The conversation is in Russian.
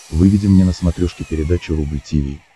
выведи мне на смотрешке передачу рубль ти ви